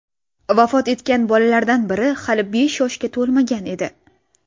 Vafot etgan bolalardan biri hali beshga to‘lmagan edi.